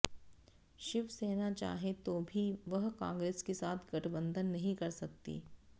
शिवसेना चाहे तो भी वह कांग्रेस के साथ गठबंधन नहीं कर सकती